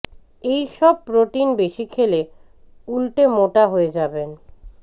এই সব প্রোটিন বেশি খেলে উল্টে মোটা হয়ে যাবেন